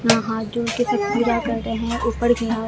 हां हाथ जोड़के सब पूजा कर रहे हैं ऊपर की ओर--